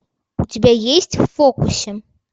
у тебя есть в фокусе